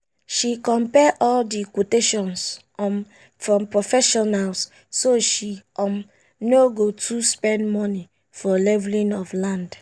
she compare all the quotations um from professionals so she um no go too spend money for leveling of land.